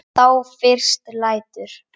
Þá fyrst lætur